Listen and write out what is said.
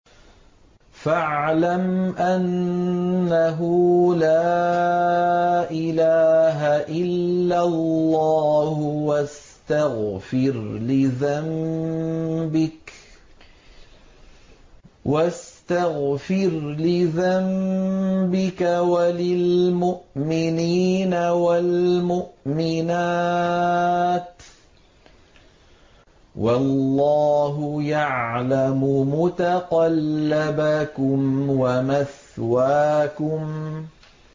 فَاعْلَمْ أَنَّهُ لَا إِلَٰهَ إِلَّا اللَّهُ وَاسْتَغْفِرْ لِذَنبِكَ وَلِلْمُؤْمِنِينَ وَالْمُؤْمِنَاتِ ۗ وَاللَّهُ يَعْلَمُ مُتَقَلَّبَكُمْ وَمَثْوَاكُمْ